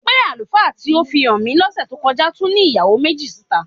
Pé àlùfáà tí ó fi hàn mí lọ́sẹ̀ tó kọ́já tún ní ìyàwó méjì síta?